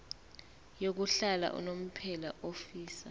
yokuhlala unomphela ofisa